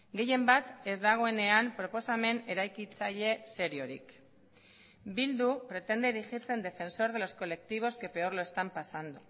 gehienbat ez dagoenean proposamen eraikitzaile seriorik bildu pretende erigirse en defensor de los colectivos que peor lo están pasando